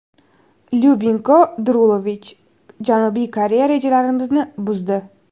Lyubinko Drulovich: Janubiy Koreya rejalarimizni buzdi.